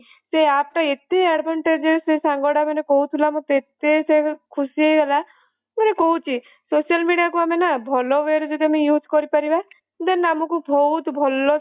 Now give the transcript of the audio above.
ସେ app ଟା ଏତେ advantages ମାନେ ସେ ସାଙ୍ଗଟା ମାନେ କହୁଥିଲେ ଏତେ ସେ ଖୁସି ହେଇଗଲା ମାନେ କହୁଛି social media କୁ ଆମେ ନା ଭଲ ଇଏ ରେ ଯଦି use କରିପାରିବା then ଆମକୁ ବହୁତ ଭଲସେ benefit ମିଳିବ